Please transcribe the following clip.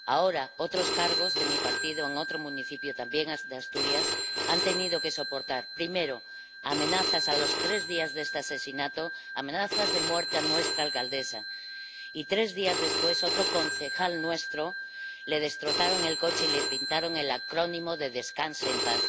Ahora, otros cargos de mi partido en otro municipio, también de Asturias, han tenido que soportar amenazas a los tres días de este asesinato, también ha habido amenazas de muerte contra nuestra alcaldesa y, tres días después, a otro concejal nuestro le destrozaron el coche y le pintaron el acrónimo de Descanse en paz.